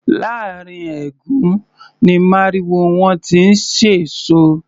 Láàrín ẹ̀gún ni màrìwó wọn ti ń ṣẹ̀sọ́.